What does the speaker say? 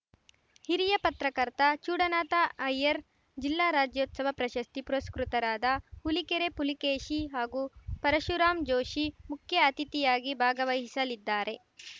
ಹಿರಿಯ ಪತ್ರಕರ್ತ ಚೂಡನಾಥ ಅಯ್ಯರ್‌ ಜಿಲ್ಲಾ ರಾಜ್ಯೋತ್ಸವ ಪ್ರಶಸ್ತಿ ಪುರಸ್ಕೃತರಾದ ಹುಲಿಕೆರೆ ಪುಲಿಕೇಶಿ ಹಾಗೂ ಪರಶುರಾಮ್‌ ಜೋಷಿ ಮುಖ್ಯಅತಿಥಿಯಾಗಿ ಭಾಗವಹಿಸಲಿದ್ದಾರೆ